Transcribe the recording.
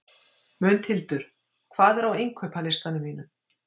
Mundhildur, hvað er á innkaupalistanum mínum?